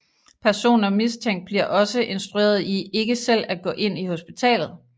Personer mistænkt bliver også instrueret i ikke selv at gå ind i hospitalet